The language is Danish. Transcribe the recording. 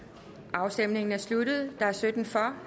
afstemningen er sluttet stemte halvfems hverken for